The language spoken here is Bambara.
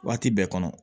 Waati bɛɛ kɔnɔ